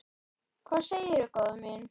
Hvað segirðu góða mín?